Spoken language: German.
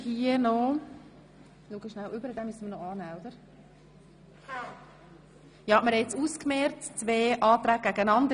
Wir haben die zwei Anträge einander gegenübergestellt.